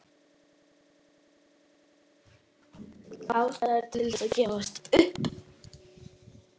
Ástæður til að gefast upp?